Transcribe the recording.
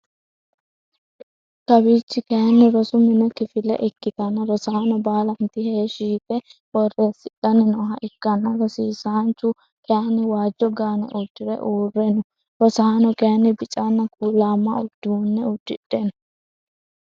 Kawiichchi kaayiini rosu mini kifile ikkitanna rosaano baalantti heeshshi yite boreesidhanni nooha ikkanna rosiisanchchu kayyiinni waajjo gaane uddire uure no rosaano kaayiini biccanna kuulamma uduunne udidhe no